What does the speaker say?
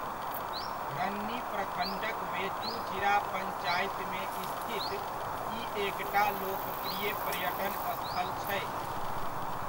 रन्नी प्रखण्डक वेचूचिरा पंचायतमे स्थित ई एकटा लोकप्रिय पर्यटन स्थल छै।